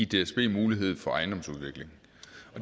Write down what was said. dsb mulighed for ejendomsudvikling